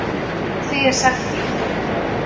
Frá því er sagt í